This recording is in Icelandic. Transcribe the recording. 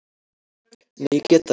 Nei, ég get það ekki.